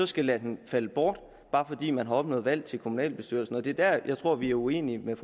skal lade den falde bort bare fordi man har opnået valg til kommunalbestyrelsen og det er der jeg tror vi er uenige med